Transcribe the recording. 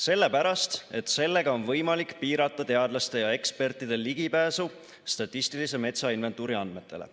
Sellepärast, et sellega on võimalik piirata teadlaste ja ekspertide ligipääsu statistilise metsainventuuri andmetele.